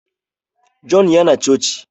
John ya na coci